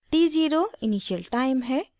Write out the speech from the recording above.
t0 initial time है